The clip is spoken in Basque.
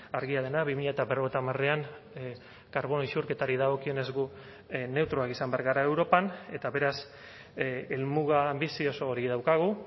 argia dena bi mila berrogeita hamarean karbono isurketari dagokionez gu neutroak izan behar gara europan eta beraz helmuga bizi oso hori daukagu